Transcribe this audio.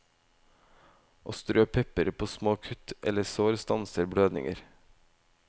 Å strø pepper på små kutt eller sår stanser blødninger.